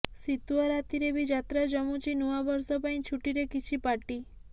ଶୀତୁଆ ରାତିରେ ବି ଯାତ୍ରା ଜମୁଛି ନୂଆବର୍ଷ ପାଇଁ ଛୁଟିରେ କିଛି ପାର୍ଟି